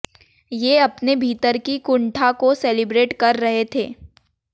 ये अपने भीतर की कुंठा को सेलिब्रेट कर रहे थे